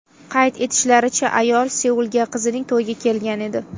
Qayd etishlaricha, ayol Seulga qizining to‘yiga kelgan edi.